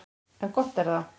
En gott er það.